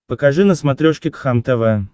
покажи на смотрешке кхлм тв